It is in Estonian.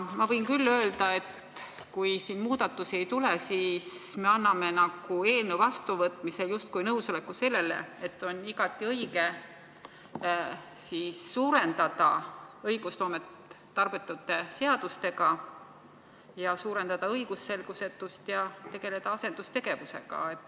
Ma võin küll öelda, et kui siin muudatusi ei tule, siis me anname seadust vastu võttes justkui nõusoleku, et on igati õige suurendada õigusloomet tarbetute seadustega, suurendada õigusselgusetust ja tegeleda asendustegevusega.